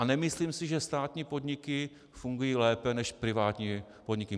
A nemyslím si, že státní podniky fungují lépe než privátní podniky.